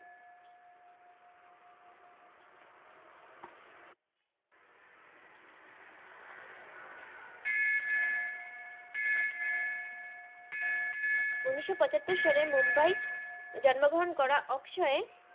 উনিস পচাত্তর সালে মুম্বাই এ জন্ম গ্রাহন করা আকশাই এর